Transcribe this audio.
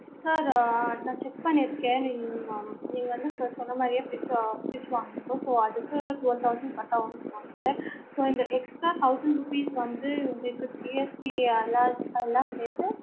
sir ஆஹ் நா check பண்ணிருக்கேன் நீங்க நீங்க வந்து சொன்ன மாறியே fridge fridge வாங்குனிங்கோ so அதுக்கு twelve thousand கட்டவும் போட்டுருக்கு sir so இந்த extra thousand rupees வந்து உங்களுக்கு GST எல்லாம் எல்லாம் சேத்து